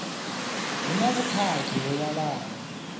hu na vhukhakhi ho vhalaho